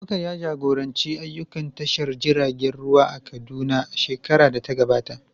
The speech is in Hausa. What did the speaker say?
Abubakar ya jagoranci ayyukan tashar jiragen ruwa a Kaduna a shekarar da ta gabata.